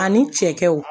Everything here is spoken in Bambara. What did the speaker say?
Ani cɛw